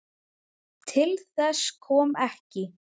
Til þess kom ekki.